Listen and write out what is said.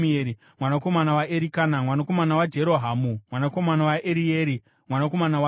mwanakomana waErikana, mwanakomana waJerohamu, mwanakomana waErieri, mwanakomana waToa,